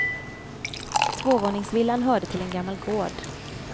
Tvåvåningsvillan hörde till en gammal gård.